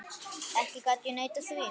Ekki gat ég neitað því.